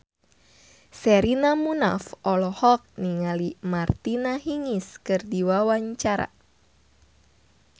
Sherina Munaf olohok ningali Martina Hingis keur diwawancara